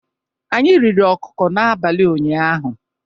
Anyị riri ọkụkọ n'abalị ụnyaahụ.